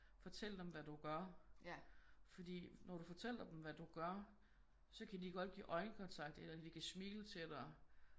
Fortæl dem hvad du gør fordi når du fortæller dem hvad du gør så kan de godt give øjenkontakt eller de kan smile til dig